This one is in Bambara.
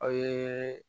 Aw ye